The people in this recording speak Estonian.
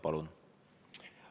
Palun!